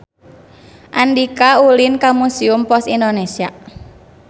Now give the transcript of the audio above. Andika ulin ka Museum Pos Indonesia